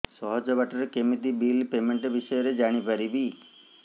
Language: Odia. ସହଜ ବାଟ ରେ କେମିତି ବିଲ୍ ପେମେଣ୍ଟ ବିଷୟ ରେ ଜାଣି ପାରିବି